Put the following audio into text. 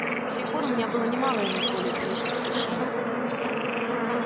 с тех пор у меня было немало иных более приличных воплощений